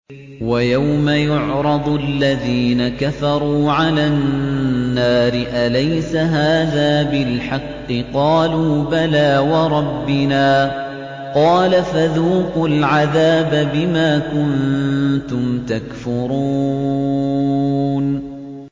وَيَوْمَ يُعْرَضُ الَّذِينَ كَفَرُوا عَلَى النَّارِ أَلَيْسَ هَٰذَا بِالْحَقِّ ۖ قَالُوا بَلَىٰ وَرَبِّنَا ۚ قَالَ فَذُوقُوا الْعَذَابَ بِمَا كُنتُمْ تَكْفُرُونَ